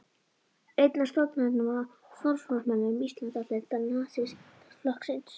Einn af stofnendum og forsvarsmönnum Íslandsdeildar Nasistaflokksins.